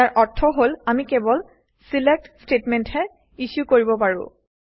ইয়াৰ অৰ্থ হল আমি কেৱল ছিলেক্ট ষ্টেটমেণ্টহে ইছ্যু কৰিব পাৰোঁ